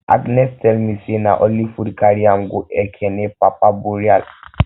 agnes tell me say na only food carry am go ekene papa burial